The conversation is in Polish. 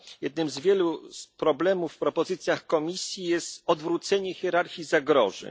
Jednym z wielu problemów w propozycjach Komisji jest odwrócenie hierarchii zagrożeń.